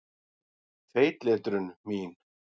Feitletrun mín.